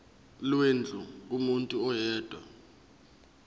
lwendlu kumuntu oyedwa